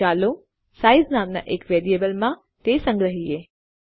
તો ચાલો સાઇઝ નામના એક વેરિયેબલમાં તે સંગ્રહીએ